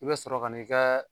I be sɔrɔ kan'i kaa